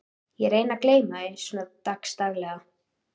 Ég reyni að gleyma því svona dags daglega.